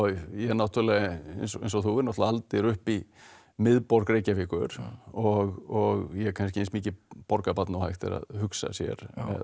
ég náttúrulega eins og þú erum aldir upp í miðborg Reykjavíkur og ég kannski eins mikið borgarbarn og hægt er að hugsa sér